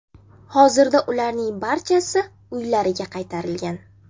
Hozirda ularning barchasi uylariga qaytarilgan.